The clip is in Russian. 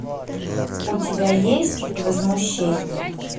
у тебя есть возмущение